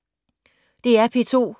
DR P2